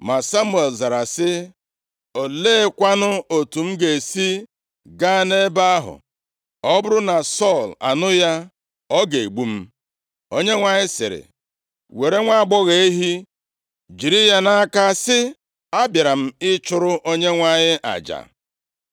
Ma Samuel zara sị, “Oleekwanụ otu m ga-esi gaa nʼebe ahụ? Ọ bụrụ na Sọl anụ ya, ọ ga-egbu m.” Onyenwe anyị sịrị, “Were nwaagbọghọ ehi, jiri ya nʼaka, sị, ‘Abịara m ịchụrụ Onyenwe anyị aja.’